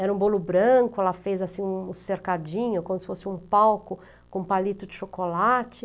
Era um bolo branco, ela fez assim um cercadinho, como se fosse um palco com palito de chocolate.